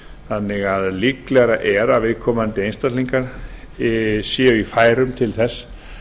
þannig að líklegra er að viðkomandi einstaklingar séu í færum til þess